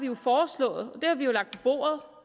jo foreslået